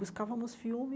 Buscávamos filme,